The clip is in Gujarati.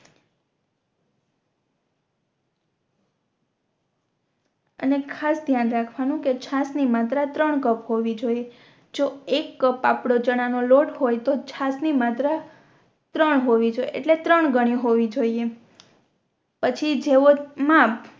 અને ખાસ ધ્યાન રાખવાનું કે છાસ ની માત્ર ત્રણ કપ હોવી જોયે જો એક કપ આપણો ચણા નો લોટ હોય તો છાસ ની માત્ર ત્રણ હોવી જોઇયે એટલે ત્રણ ઘણી હોવી જોયે પછી જેવો માપ